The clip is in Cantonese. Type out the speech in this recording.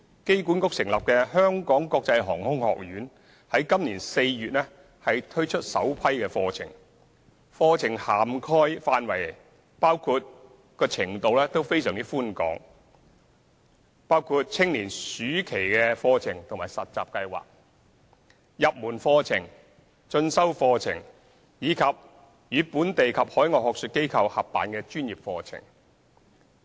機管局成立的香港國際航空學院於今年4月推出首批課程，課程涵蓋範圍及程度廣闊，包括青年暑期課程及實習計劃、入門課程、進修課程，以及與本地及海外學術機構合辦的專業課程。